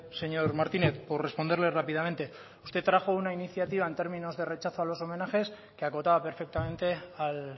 señor martínez por responderle rápidamente usted trajo una iniciativa en términos de rechazo a los homenajes que acotaba perfectamente al